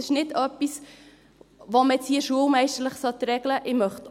Das ist nicht etwas, das man jetzt hier schulmeisterlich regeln sollte.